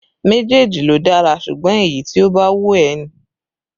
Méjèèjì ló dára, ṣùgbọ́n èyí tí ó bá wù ẹ́ ni